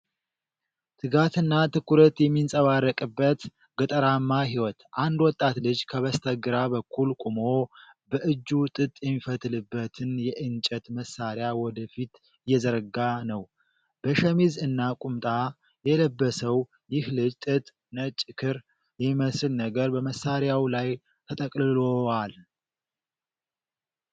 ትጋትና ትኩረት የሚንጸባረቅበት ገጠራማ ሕይወት። አንድ ወጣት ልጅ ከበስተግራ በኩል ቆሞ በእጁ ጥጥ የሚፈትልበትን የእንጨት መሣሪያ ወደ ፊት እየዘረጋ ነው። በሸሚዝ እና ቁምጣ የለበሰው ይህ ልጅ ጥጥ ነጭ ክር የሚመስል ነገር በመሳሪያው ላይ ተጠቅልሎዏል።